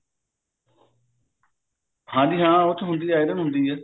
ਹਾਂਜੀ ਹਾਂ ਉਸ ਚ ਹੁੰਦੀ ਹੈ iron ਹੁੰਦੀ ਹੈ